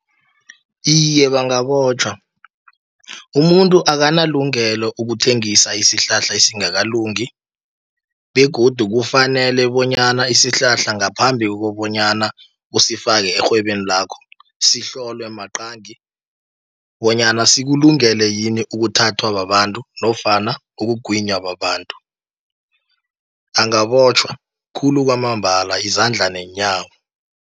Iye, bangabotjhwa, umuntu akanalungelo ukuthengisa isihlahla esingakalungi, begodu kufanele bonyana isihlahla ngaphambi kobonyana usifake erhwebeni lakho. Sihloliwe maqangi bonyana sekulungele yini ukuthathwa babantu, nofana ukugwinya babantu, angabotjhwa khulu kwamambala, izandla neenyawo.